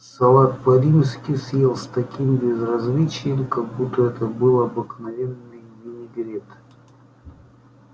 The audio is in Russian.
салат по-римски съел с таким безразличием как будто это был обыкновенный винегрет